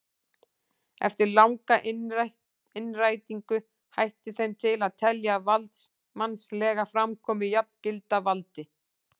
Eftir langa innrætingu hætti þeim til að telja valdsmannslega framkomu jafngilda valdi.